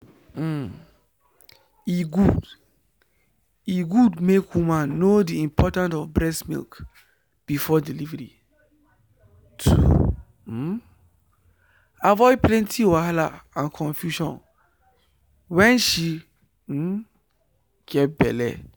um e good e good make woman know the important of breast milk before delivery to um avoid plenty wahala and confusion wen she um get belle